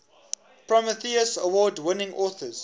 prometheus award winning authors